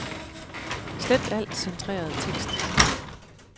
Slet al centreret tekst.